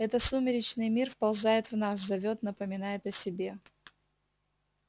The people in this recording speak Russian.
это сумеречный мир вползает в нас зовёт напоминает о себе